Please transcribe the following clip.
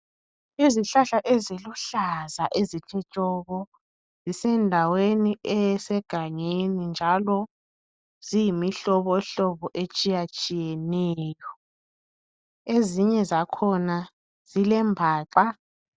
Izihlahla eziluhlaza ezithe tshoko zisendaweni esegangeni njalo ziyimihlobohlobo etshiyatshiyeneyo. Ezinye zakhona zilembaxa.